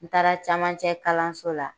N taara camancɛ kalanso la